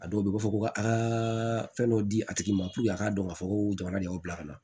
A dɔw bɛ yen u b'a fɔ ko ka a fɛn dɔ di a tigi ma puruke a k'a dɔn k'a fɔ ko jamana de y'o bila ka na